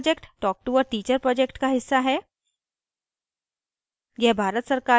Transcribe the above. spoken tutorial project talktoa teacher project का हिस्सा है